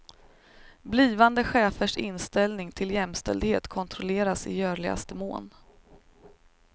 Blivande chefers inställning till jämställdhet kontrolleras i görligaste mån.